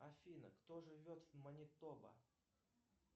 афина кто живет в манитоба